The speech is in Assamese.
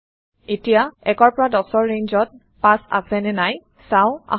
এতিয়া ১ ১০ৰ ৰেঞ্জত ৫ আছে নে নাই চাওঁ আহক